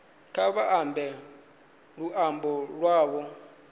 kha vha ambe luambo lwavho